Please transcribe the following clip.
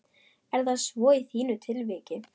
Er það svo í þínu tilviki?